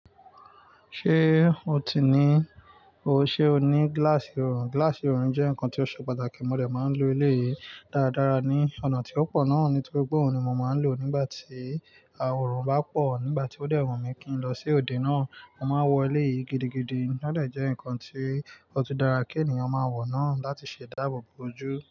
Ṣé o ti ní o-- ṣé o ní gíláàsì orun? Gíláàsì orun jẹ́ nǹkan tó ṣe pàtàkì, mo dẹ̀ máa ń lo eleyìí dáadára ní ọ̀nà tí ó pọ̀ náà nítorí gbogbo òhun ni mi mo máa ń lò ó nígbà tí orun bá pọ̀. Nígbà tí ó dẹwù mi kí n lọ sí òde náà, mo máa wọ eleyìí gidigidi. Ó dẹ̀ jẹ́ nǹkan tí ó tó dára kí ènìyàn máa wọ̀ náà láti ṣèdá ààbò bóojú.